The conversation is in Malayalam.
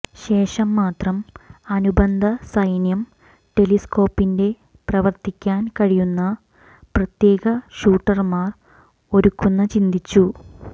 ശേഷം മാത്രം അനുബന്ധ സൈന്യം ടെലിസ്കോപ്പിക് പ്രവർത്തിക്കാൻ കഴിയുന്ന പ്രത്യേക ഷൂട്ടർമാർ ഒരുക്കുന്ന ചിന്തിച്ചു